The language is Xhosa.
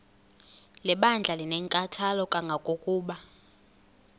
lebandla linenkathalo kangangokuba